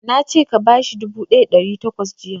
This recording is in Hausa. Na ce ka bashi dubu ɗaya da ɗari takwas jiya!